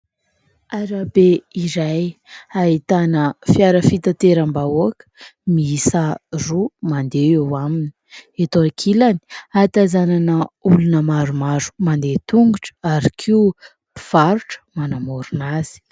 Arabe iray ahitana fiara fitanteram-bahoaka miisa roa mandeha eo aminy. Eto ankilany hatazamana olona maromaro mandeha tongotra ary koa mpivarotra manamorona azy.